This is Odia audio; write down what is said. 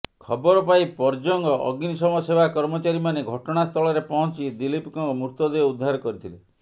ଖବର ପାଇ ପର୍ଜଙ୍ଗ ଅଗ୍ନିଶମ ସେବା କର୍ମଚାରୀମାନେ ଘଟଣାସ୍ଥଳରେ ପହଞ୍ଚି ଦିଲୀପଙ୍କ ମୃତଦେହ ଉଦ୍ଧାର କରିଥିଲେ